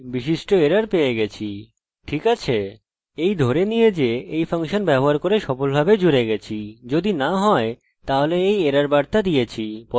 এই ধরে নিয়ে যে এই ফাংশন ব্যবহার করে সফলভাবে জুড়ে গেছি যদি না হয়তাহলে এই এরর বার্তা দিয়েছি পরবর্তী কাজ হল ডাটাবেস নির্বাচন করা